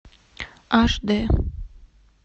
аш д